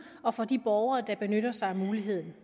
og for de borgere der benytter sig af muligheden